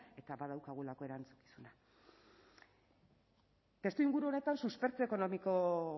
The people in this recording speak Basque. eta badaukagulako erantzukizuna testuinguru honetan suspertze ekonomiko